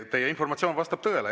Teie informatsioon vastab tõele.